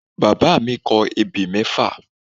Bàbá mi kọ ebè mẹ́fà